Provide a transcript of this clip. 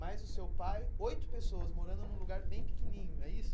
Mais o seu pai, oito pessoas morando num lugar bem pequenininho, é isso?